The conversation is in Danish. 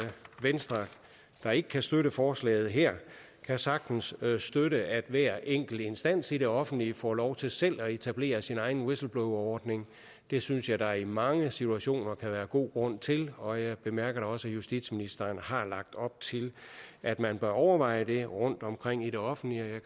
venstre der ikke kan støtte forslaget her her sagtens kan støtte at hver enkelt instans i det offentlige får lov til selv at etablere sin egen whistleblowerordning det synes jeg at der i mange situationer kan være god grund til og jeg bemærker da også at justitsministeren har lagt op til at man bør overveje det rundtomkring i det offentlige